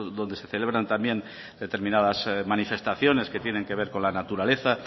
donde se celebran también determinadas manifestaciones que tienen que ver con la naturaleza